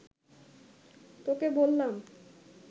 তোকে বললাম